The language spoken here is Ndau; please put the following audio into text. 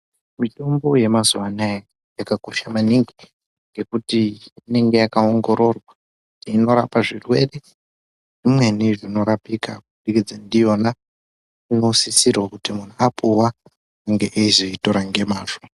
Mitombo yemazuwa anaya yakakosha maningi ngekuti inenge yakawongororwa kuti unorapa zvirwere zvimweni zvinorapika kubudikidza ndiyona. Inosisirwa kuti muntu apuwa unenge eyitora nemazvo.